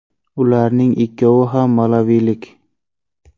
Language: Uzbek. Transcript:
Ularning ikkovi ham malavilik.